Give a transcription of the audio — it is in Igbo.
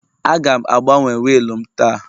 Aga m agbanwe wiil m taa